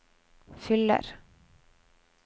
fyller